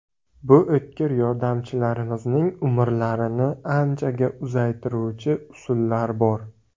Bu o‘tkir yordamchilarimizning umrlarini anchaga uzaytiruvchi usullar bor.